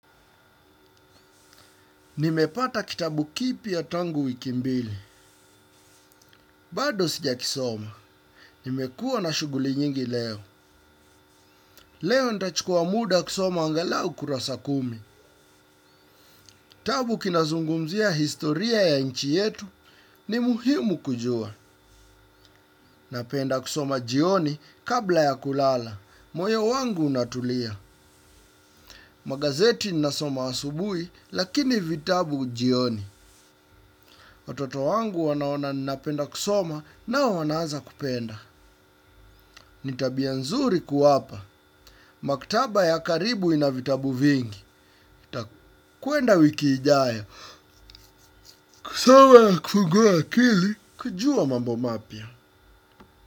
Nimepata kitabu kipya tangu wiki mbili. Bado sijakisoma. Nimekua na shughuli nyingi leo. Leo nitachukua muda kusoma angalau kurasa kumi. Kitabu kinazungumzia historia ya nchi yetu. Ni muhimu kujua. Napenda kisoma jioni kabla ya kulala. Moyo wangu unatulia. Magazeti nasoma asubuhi lakini vitabu jioni. Watoto wangu wanaona napenda kusoma nao wanaaza kupenda. Ni tabia nzuri kuwapa. Maktaba ya karibu ina vitabu vingi nitakwenda wiki ijayo. Kusoma na kufungua akili. Kujua mambo mapya.